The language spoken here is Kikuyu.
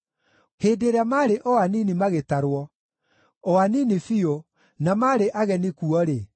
Hĩndĩ ĩrĩa maarĩ o anini magĩtarwo, o anini biũ, na marĩ ageni kuo-rĩ,